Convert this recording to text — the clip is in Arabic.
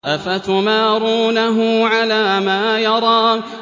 أَفَتُمَارُونَهُ عَلَىٰ مَا يَرَىٰ